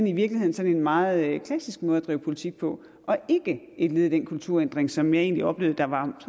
i virkeligheden sådan en meget klassisk måde at drive politik på og ikke et led i den kulturændring som jeg egentlig oplevede der var